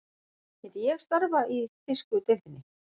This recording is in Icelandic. Myndi ég starfa í þýsku deildinni?